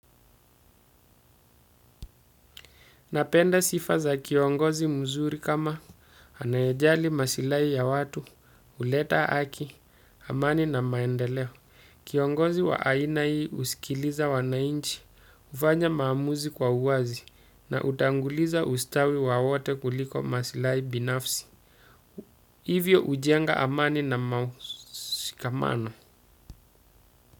Napenda sifa za kiongozi mzuri kama anayejali masilahi ya watu, huleta haki, amani na maendeleo. Kiongozi wa aina hii husikiliza wananchi, hufanya maamuzi kwa uwazi na hutanguliza ustawi wa wote kuliko masilahi binafsi. Hivyo hujenga amani na mausikamano.